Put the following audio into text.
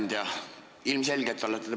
Hea ettekandja!